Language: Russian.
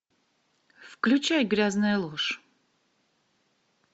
включай грязная ложь